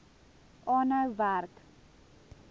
aanhou werk